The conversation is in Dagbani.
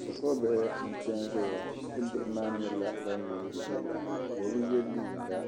Shi kuru bihi n pɛ n ʒɛya shi kuru bihi maa nyɛla ban yiini yila, bɛbi yeliiga